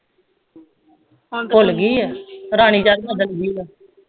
ਰਾਣੀ ਜਾਕੇ ਬਦਲ ਗਈ ਆ